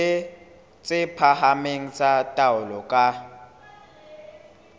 tse phahameng tsa taolo ka